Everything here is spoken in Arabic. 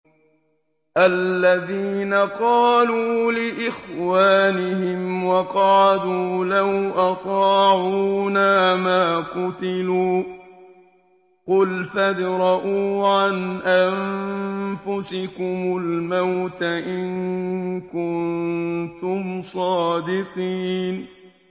الَّذِينَ قَالُوا لِإِخْوَانِهِمْ وَقَعَدُوا لَوْ أَطَاعُونَا مَا قُتِلُوا ۗ قُلْ فَادْرَءُوا عَنْ أَنفُسِكُمُ الْمَوْتَ إِن كُنتُمْ صَادِقِينَ